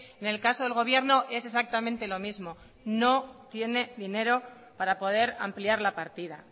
en el caso del gobierno es exactamente lo mismo no tiene dinero para poder ampliar la partida